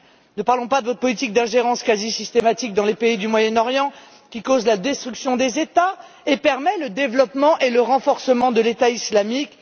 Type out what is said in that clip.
Ne parlons pas de votre politique d'ingérence quasi permanente dans les pays du Moyen Orient, qui cause la destruction des États et permet le développement et le renforcement de l'État islamique.